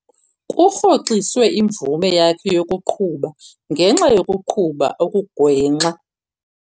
Kurhoxiswe imvume yakhe yokuqhuba ngenxa yokuqhuba okugwenxa.